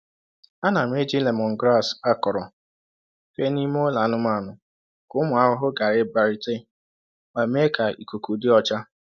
Ana m eji lemongrass akọrọ fee n’ime ụlọ anụmanụ ka ụmụ ahụhụ ghara ịbịarute ma mee ka ikuku dị ọcha.